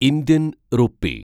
Indian rupee